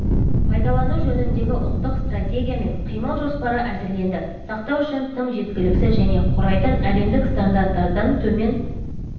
пайдалану жөніндегі ұлттық стратегия мен қимыл жоспары әзірленді сақтау үшін тым жеткіліксіз және құрайтын әлемдік стандарттардан төмен